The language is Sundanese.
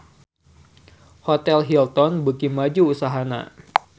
Hotel Hilton beuki maju usahana